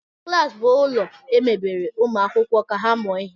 Klas bụ ụlọ emebere ụmụ akwụkwọ ka ha mụọ ihe